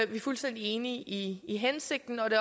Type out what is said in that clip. vi er fuldstændig enige i i hensigten og det